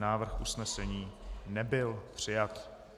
Návrh usnesení nebyl přijat.